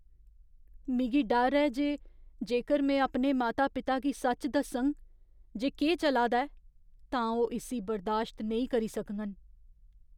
मिगी डर ऐ जे जेकर में अपने माता पिता गी सच दस्सङ जे केह् चला दा ऐ, तां ओह् इस्सी बर्दाश्त नेईं करी सकङन।